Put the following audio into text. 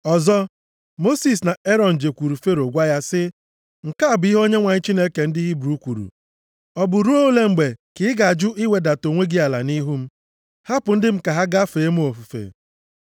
Ọzọ, Mosis na Erọn jekwuuru Fero gwa ya sị, “Nke a bụ ihe Onyenwe anyị Chineke ndị Hibru kwuru, ‘Ọ bụ ruo olee mgbe ka ị ga-ajụ iwedata onwe gị ala nʼihu m? Hapụ ndị m ka ha gaa fee m ofufe.